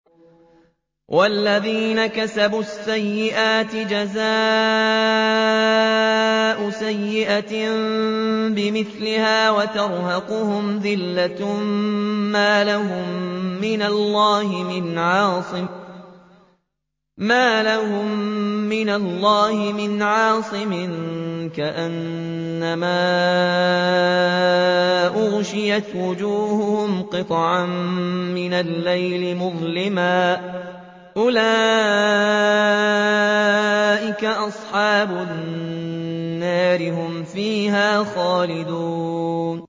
وَالَّذِينَ كَسَبُوا السَّيِّئَاتِ جَزَاءُ سَيِّئَةٍ بِمِثْلِهَا وَتَرْهَقُهُمْ ذِلَّةٌ ۖ مَّا لَهُم مِّنَ اللَّهِ مِنْ عَاصِمٍ ۖ كَأَنَّمَا أُغْشِيَتْ وُجُوهُهُمْ قِطَعًا مِّنَ اللَّيْلِ مُظْلِمًا ۚ أُولَٰئِكَ أَصْحَابُ النَّارِ ۖ هُمْ فِيهَا خَالِدُونَ